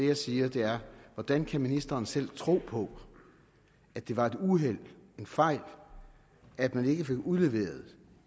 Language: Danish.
jeg siger er hvordan kan ministeren selv tro på at det var et uheld en fejl at man ikke fik udleveret